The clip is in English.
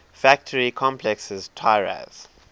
factory complexes tiraz